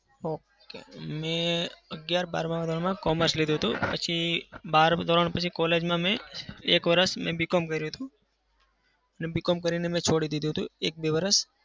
okay મેં અગિયાર-બારમાં commerce લીધું હતું. પછી બારમું ધોરણ પછી college માં એક વર્ષ મેં BCom કર્યું હતું. અને BCom કરીને મેં છોડી દીધું હતું એક બે વર્ષ.